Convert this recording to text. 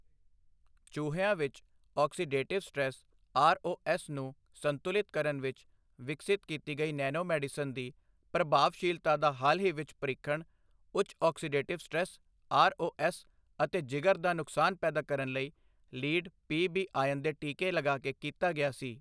ਚੂਹਿਆਂ ਵਿੱਚ oxidative stress R O S ਨੂੰ ਸੰਤੁਲਿਤ ਕਰਨ ਵਿੱਚ ਵਿਕਸਿਤ ਕੀਤੀ ਗਈ ਨੈਨੋਮੈਡੀਸਿਨ ਦੀ ਪ੍ਰਭਾਵਸ਼ੀਲਤਾ ਦਾ ਹਾਲ ਹੀ ਵਿੱਚ ਪ੍ਰੀਖਣ, ਉੱਚ oxidative stress R O S ਅਤੇ ਜਿਗਰ ਦਾ ਨੁਕਸਾਨ ਪੈਦਾ ਕਰਨ ਲਈ ਲੀਡ ਪੀ ਬੀ ਆਯਨ ਦੇ ਟੀਕੇ ਲਗਾ ਕੇ ਕੀਤਾ ਗਿਆ ਸੀ।